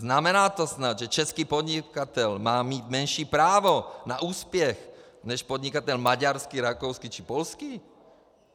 Znamená to snad, že český podnikatel má mít menší právo na úspěch než podnikatel maďarský, rakouský či polský?